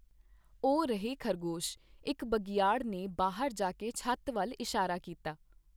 ਉਹ ਰਹੇ ਖ਼ਰਗੋਸ਼, ਇਕ ਬਘਿਆੜ ਨੇ ਬਾਹਰ ਜਾ ਕੇ ਛੱਤ ਵੱਲ ਇਸ਼ਾਰਾ ਕੀਤਾ।